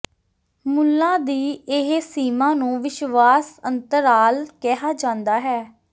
ਮੁੱਲਾਂ ਦੀ ਇਹ ਸੀਮਾ ਨੂੰ ਵਿਸ਼ਵਾਸ ਅੰਤਰਾਲ ਕਿਹਾ ਜਾਂਦਾ ਹੈ